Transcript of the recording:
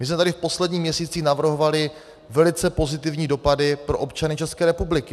My jsme tady v posledních měsících navrhovali velice pozitivní dopady pro občany České republiky.